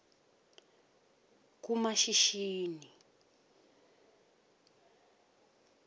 kumashishini